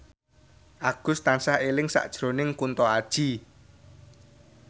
Agus tansah eling sakjroning Kunto Aji